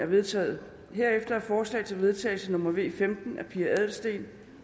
vedtaget herefter er forslag til vedtagelse nummer v femten af pia adelsteen